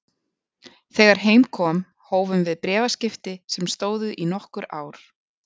Þegar heim kom hófum við bréfaskipti sem stóðu í nokkur ár.